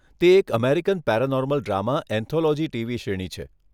તે એક American paranormal drama anthology TV શ્રેણી છે.